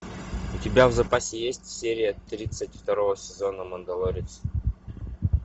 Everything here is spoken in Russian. у тебя в запасе есть серия тридцать второго сезона мандалорец